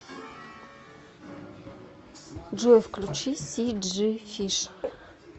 джой включи си джи фиш